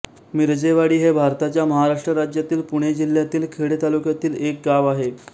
मिरजेवाडी हे भारताच्या महाराष्ट्र राज्यातील पुणे जिल्ह्यातील खेड तालुक्यातील एक गाव आहे